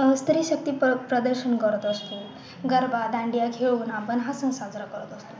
अह स्त्री शक्ती प्रदर्शन करत असतो गरबा, दांडिया खेळून आपण हा सण साजरा करत असतो